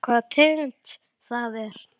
Veistu hvaða tegund það er?